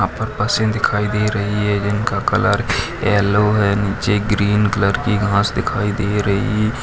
यहाँ पर बसें दिखाई दे रही है जिनका कलर येलो है नीचे ग्रीन कलर की घास दिखाई दे रही --